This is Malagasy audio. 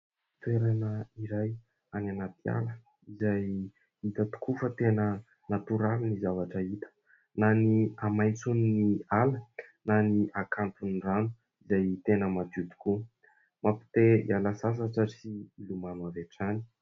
Toerana iray any anaty ala izay hita tokoa fa tena natoraly ny zavatra hita, na ny hamaitson'ny ala na ny hakanton'ny rano izay tena madio tokoa, mampite hiala sasatra sy hilomano avy hatrany.